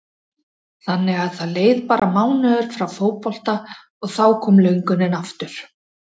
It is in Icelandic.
Þannig að það leið bara mánuður frá fótbolta og þá kom löngunin aftur?